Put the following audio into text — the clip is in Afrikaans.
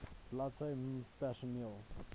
bladsy mh personeel